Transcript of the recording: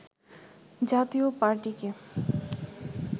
জাতীয় পার্টিকে